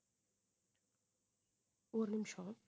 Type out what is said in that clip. ஒரு நிமிஷம்